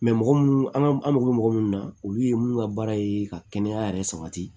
mɔgɔ munnu an ka an mago bɛ mɔgɔ munnu na olu ye mun ka baara ye ka kɛnɛya yɛrɛ sabati